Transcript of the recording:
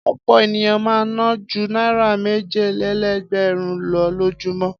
Ọ̀pọ̀ ènìyàn máa ń ná ju náírà méjìlélẹ́ẹ̀dẹ́gbẹ̀rún lọ lójúmọ́.